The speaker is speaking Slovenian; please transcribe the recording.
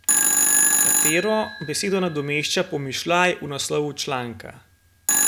Katero besedo nadomešča pomišljaj v naslovu članka?